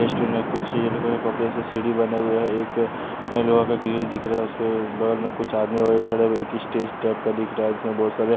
कुछ ये लोग अपने से सीढ़ी बना हुआ है एक लोहा का ग्रिल दिख रहा है उसपे बगल में कुछ आदमी वगैरह खड़े हुए एक स्टेज टाइप का दिख रहा है जिसमें बहुत सारे --